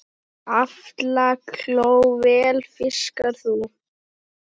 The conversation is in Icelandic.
Aflakló vel fiskar sú.